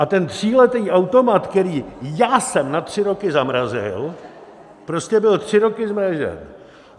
A ten tříletý automat, který já jsem na tři roky zamrazil, prostě byl tři roky zmražen.